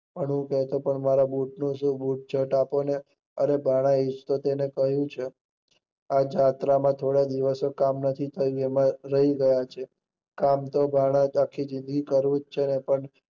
ઘણું કેહતા પણ બુટ નું શું? મારા બુટ આપો ને? અરે ભાણા એને કીધું છે આ જાત્રા માં થોડા દિવસ કામ નથી થયું એમાં રહી ગયા છે, કામ તો આખી જિંદગી કરતું જ છે ને.